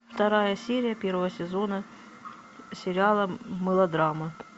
вторая серия первого сезона сериала мелодрама